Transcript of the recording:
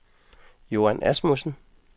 Joan Asmussen